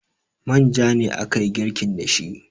manja ne aka yi girkin da shi